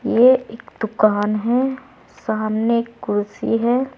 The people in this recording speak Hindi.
ये एक दुकान है। सामने कुर्सी है।